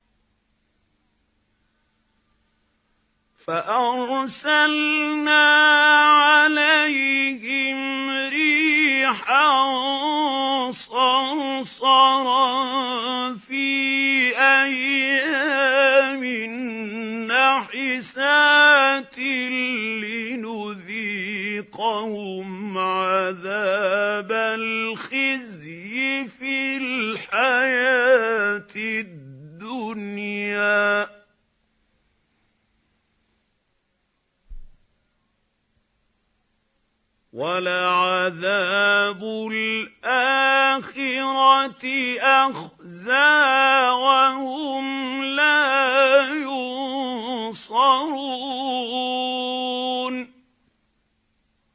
فَأَرْسَلْنَا عَلَيْهِمْ رِيحًا صَرْصَرًا فِي أَيَّامٍ نَّحِسَاتٍ لِّنُذِيقَهُمْ عَذَابَ الْخِزْيِ فِي الْحَيَاةِ الدُّنْيَا ۖ وَلَعَذَابُ الْآخِرَةِ أَخْزَىٰ ۖ وَهُمْ لَا يُنصَرُونَ